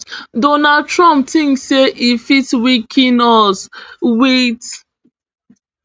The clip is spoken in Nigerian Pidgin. donald trump tink say e fit weaken us wit